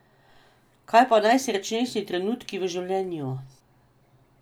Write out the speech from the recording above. Kaj pa najsrečnejši trenutki v življenju?